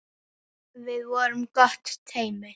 Við vorum gott teymi.